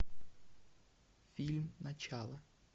фильм начало